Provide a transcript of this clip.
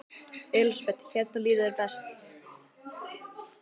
Elísabet: Hérna líður þér best?